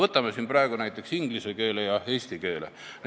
Võtame näiteks inglise ja eesti keele.